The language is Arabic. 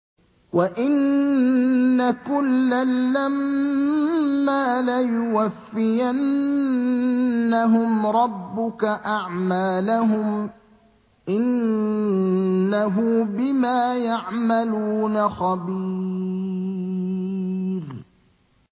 وَإِنَّ كُلًّا لَّمَّا لَيُوَفِّيَنَّهُمْ رَبُّكَ أَعْمَالَهُمْ ۚ إِنَّهُ بِمَا يَعْمَلُونَ خَبِيرٌ